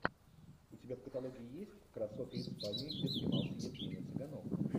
у тебя в каталоге есть красоты испании где снимался евгений цыганов